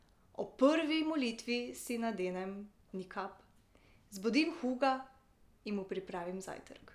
Ob prvi molitvi si nadenem nikab, zbudim Huga in mu pripravim zajtrk.